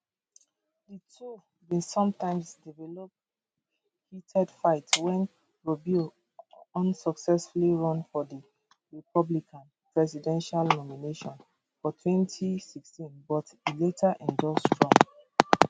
di two bin sometimes develop heated fight wen rubio unsuccessfully run for di republican presidential nomination for 2016 but e later endorse trump